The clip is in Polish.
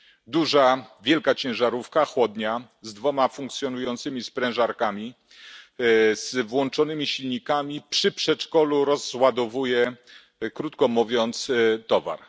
Duża, wielka ciężarówka, chłodnia, z dwiema funkcjonującymi sprężarkami, z włączonymi silnikami przy przedszkolu rozładowuje, krótko mówiąc towar.